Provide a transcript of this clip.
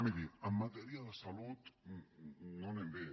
miri en matèria de salut no anem bé